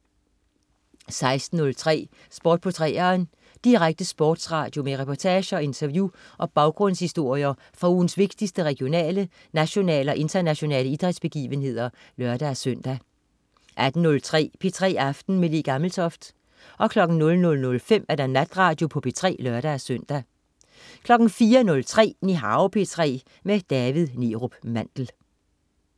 16.03 Sport på 3'eren. Direkte sportsradio med reportager, interview og baggrundshistorier fra ugens vigtigste regionale, nationale og internationale idrætsbegivenheder (lør-søn) 18.03 P3 aften med Le Gammeltoft 00.05 Natradio på P3 (lør-søn) 04.03 Nihao P3. David Neerup Mandel